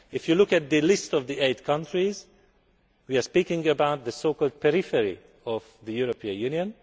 stress. If you look at the list of the eight countries, we are talking about the so called periphery of the European